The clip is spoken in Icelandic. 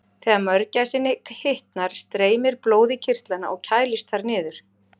Þegar mörgæsinni hitnar streymir blóð í kirtlana og kælist þar niður.